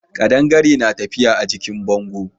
Kadangare na tafiya a jikin bango.